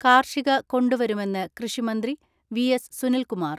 കാർഷിക കൊണ്ടുവരുമെന്ന് കൃഷിമന്ത്രി വി.എസ്.സുനിൽകുമാർ.